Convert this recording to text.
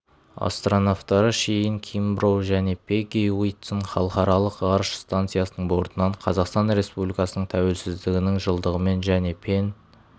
астронавтары шейн кимброу және пегги уитсон халықаралық ғарыш станциясының бортынан қазақстан республикасының тәуелсіздігінің жылдығымен және пен